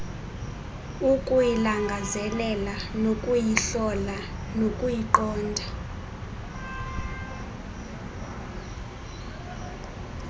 ukuyilangazelela nokuyihlola nokuyiqonda